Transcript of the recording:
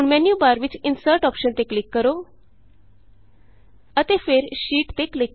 ਹੁਣ ਮੈਨਯੂਬਾਰ ਵਿਚ Insertਅੋਪਸ਼ਨ ਤੇ ਕਲਿਕ ਕਰੋ ਅਤੇ ਫਿਰ ਸ਼ੀਟ ਤੇ ਕਲਿਕ ਕਰੋ